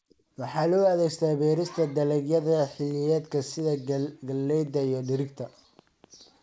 Waxaa loo adeegsadaa beerista dalagyada xilliyeedka sida galleyda iyo digirta.